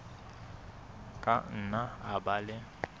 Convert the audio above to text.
ka nna a ba le